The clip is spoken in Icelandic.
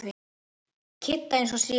Kidda eins og síðast.